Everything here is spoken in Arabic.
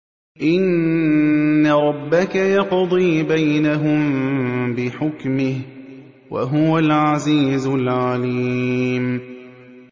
إِنَّ رَبَّكَ يَقْضِي بَيْنَهُم بِحُكْمِهِ ۚ وَهُوَ الْعَزِيزُ الْعَلِيمُ